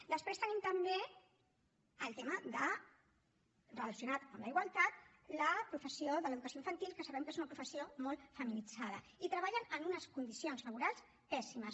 després tenim també el tema de relacionat amb la igualtat la professió de l’educació infantil que sabem que és una professió molt feminitzada i treballen en unes condicions laborals pèssimes